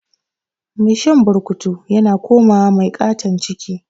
Mai shan burkutu yana komawa mai katan ciki